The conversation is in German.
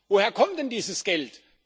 Woher kommt denn dieses Geld?